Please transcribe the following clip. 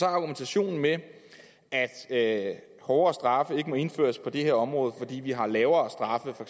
argumentationen med at hårdere straffe ikke må indføres på det her område fordi vi har lavere straffe for